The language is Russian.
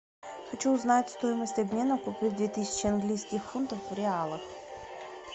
хочу узнать стоимость обмена купив две тысячи английских фунтов в реалах